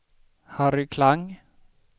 Harry Klang